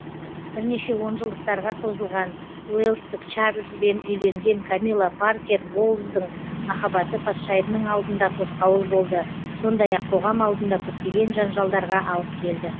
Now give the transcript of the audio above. бірнеше онжылдықтарға созылған уэльстік чарльз бен үйленген камила паркер боулздың махаббаты патшайымның алдында тосқауыл болды сондай ақ қоғам алдында көптеген жанжалдарға алып келді